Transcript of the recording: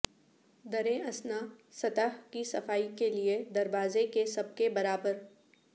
دریں اثنا سطح کی صفائی کے لئے دروازے کے سب کے برابر